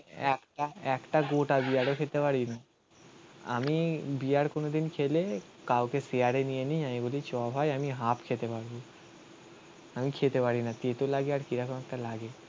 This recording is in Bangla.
একটা. একটা গোটা বিয়ারও খেতে পারি না. আমি বিয়ার কোনদিন খেলে কাউকে শেয়ারে নিয়ে নিই আমি বলি চ ভাই আমি হাফ খেতে পারবো. আমি খেতে পারি না. তেতো লাগে আর কিরকম একটা লাগে.